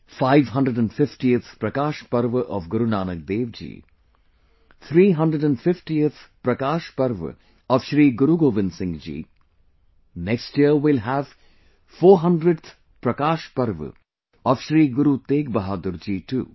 550th Prakash Parva of Guru Nanak Dev ji, 350th Prakash Parv of Shri Guru Govind Singh ji, next year we will have 400th Prakash Parv of Shri Guru Teg Bahadur ji too